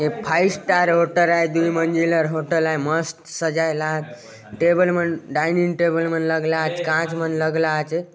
ये five star hotel आय दुइ मंजिलर होटल आय मस्त सजाय लात टेबल मन डाइनिंग टेबल मन लगला आचे कांच मन लगला आचे।